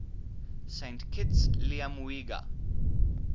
saint kitts liamuiga